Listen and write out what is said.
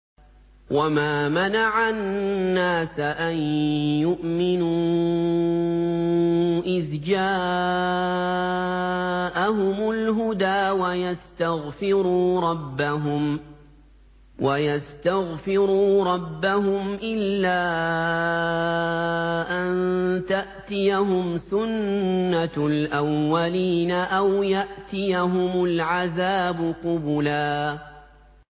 وَمَا مَنَعَ النَّاسَ أَن يُؤْمِنُوا إِذْ جَاءَهُمُ الْهُدَىٰ وَيَسْتَغْفِرُوا رَبَّهُمْ إِلَّا أَن تَأْتِيَهُمْ سُنَّةُ الْأَوَّلِينَ أَوْ يَأْتِيَهُمُ الْعَذَابُ قُبُلًا